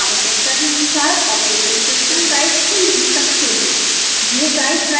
आप अपनी आवश्यकता के अनुसार operating system guide चुन भी सकते हैं